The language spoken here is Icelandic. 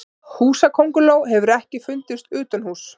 Húsakönguló hefur ekki fundist utanhúss.